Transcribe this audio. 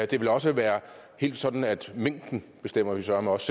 det vil også være sådan at mængden bestemmer vi søreme også